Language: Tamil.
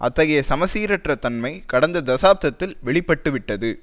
அத்தகைய சமசீரற்ற தன்மை கடந்த தசாப்தத்தில் வெளி பட்டு விட்டது